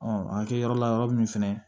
a kɛ yɔrɔ la yɔrɔ min fɛnɛ